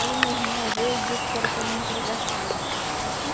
Aí meu irmão veio e disse que era para mim entregar a santa, sabe assim?